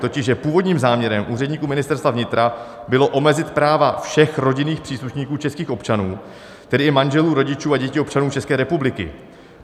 Totiž že původním záměrem úředníků Ministerstva vnitra bylo omezit práva všech rodinných příslušníků českých občanů, tedy i manželů, rodičů a dětí občanů České republiky.